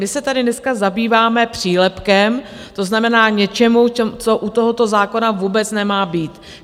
My se tady dneska zabýváme přílepkem, to znamená, něčím, co u tohoto zákona vůbec nemá být.